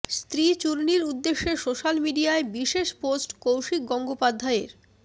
স্ত্রী চূর্ণীর উদ্দেশ্যে সোশ্যাল মিডিয়ায় বিশেষ পোস্ট কৌশিক গঙ্গোপাধ্যায়ের